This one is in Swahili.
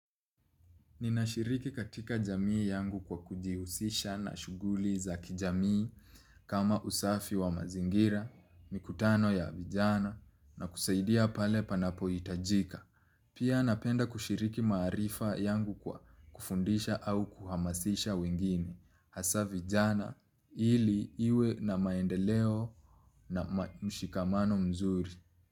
Ninashiriki katika jamii yangu kwa kujihusisha na shughuli za kijamii kama usafi wa mazingira, mikutano ya vijana nakusaidia pale panapohitajika. Pia napenda kushiriki maarifa yangu kwa kufundisha au kuhamasisha wengine. Hasa vijana ili iwe na maendeleo na mshikamano mzuri.